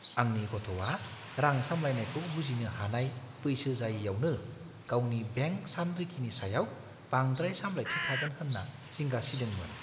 आंनि गथ'आ रां सामलायनायखौ बुजिनो हानाय बैसो जायैआवनो गावनि बेंक सानरिखिनि सायाव बांद्राय सामलायथि थागोन होन्ना जिंगा सिदोंमोन।